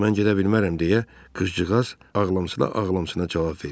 Yox, mən gedə bilmərəm deyə qırpıcığaz ağlamsına-ağlamsına cavab verdi.